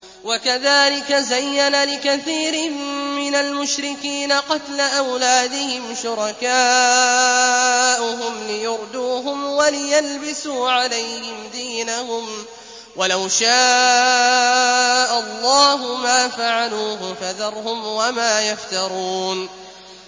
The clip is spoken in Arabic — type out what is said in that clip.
وَكَذَٰلِكَ زَيَّنَ لِكَثِيرٍ مِّنَ الْمُشْرِكِينَ قَتْلَ أَوْلَادِهِمْ شُرَكَاؤُهُمْ لِيُرْدُوهُمْ وَلِيَلْبِسُوا عَلَيْهِمْ دِينَهُمْ ۖ وَلَوْ شَاءَ اللَّهُ مَا فَعَلُوهُ ۖ فَذَرْهُمْ وَمَا يَفْتَرُونَ